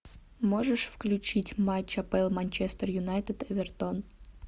можешь включить матч апл манчестер юнайтед эвертон